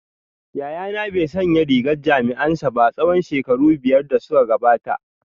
Yayana bai sanya rigar jami’ansa ba tsawon shekaru biyar da suka gabata